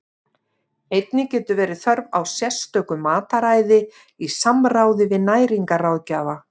Einnig getur verið þörf á sérstöku mataræði í samráði við næringarráðgjafa.